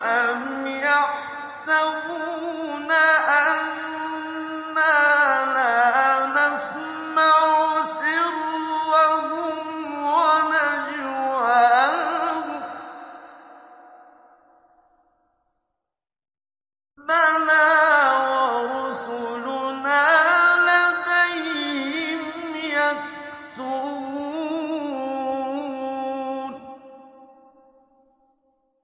أَمْ يَحْسَبُونَ أَنَّا لَا نَسْمَعُ سِرَّهُمْ وَنَجْوَاهُم ۚ بَلَىٰ وَرُسُلُنَا لَدَيْهِمْ يَكْتُبُونَ